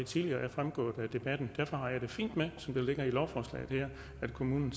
tidligere er fremgået af debatten derfor har jeg det fint med som det ligger i lovforslaget her at kommunen